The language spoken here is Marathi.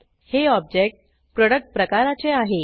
हे ऑब्जेक्ट प्रोडक्ट प्रकाराचे आहे